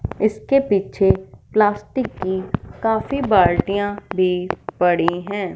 इसके पीछे काफी प्लास्टिक की बाल्टिया भी पड़ी हैं।